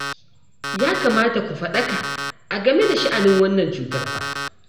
Ya kamata ku faɗaka a game da sha'anin wannan cutar fa